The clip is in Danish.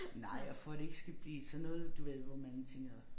Nej for det ikke skal blive sådan noget du ved hvor man tænker